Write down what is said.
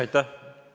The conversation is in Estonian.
Aitäh!